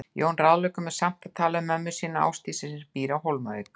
Jón ráðleggur mér samt að tala við mömmu sína, Ásdísi, sem býr á Hólmavík.